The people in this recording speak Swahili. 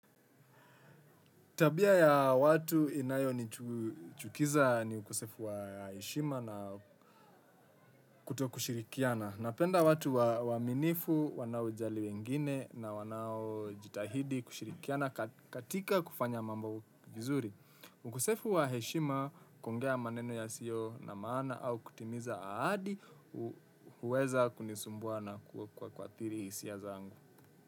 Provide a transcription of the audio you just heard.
Tabia ya watu inayonichukiza ni ukosefu wa heshima na kuto kushirikiana. Napenda watu waaminifu wanaojali wengine, na wanaojitahidi kushirikiana katika kufanya mambo vizuri. Ukosefu wa heshima kuongea maneno yasiyo na maana au kutimiza ahadi hu huweza kunisumbua na kuadhiri hisia zangu.